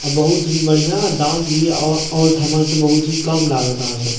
अ बहुत ही बढ़िया दाम भी अ और ठमा से कम लागत अहाँ सब के --